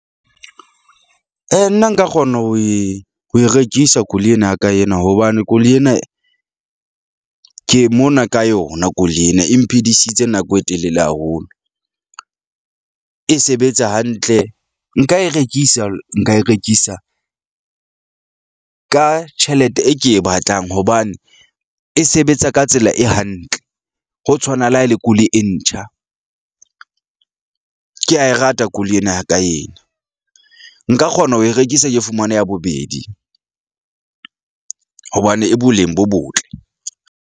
Nna nka kgona ho e ho e rekisa koloi ena ya ka ena hobane koloi ena ke mona ka yona koloi ena e mphidisitseng nako e telele haholo , e sebetsa hantle nka e rekisa. Nka e rekisa ka tjhelete e ke e batlang hobane e sebetsa ka tsela e hantle. Ho tshwana le ha e le koloi e ntjha . Ke a e rata koloi ena ya ka ena, nka kgona ho e rekisa ke fumana ya bobedi , hobane e boleng bo botle.